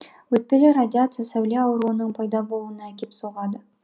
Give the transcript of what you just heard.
өтпелі радиация сәуле ауруының пайда болуына әкеп соғады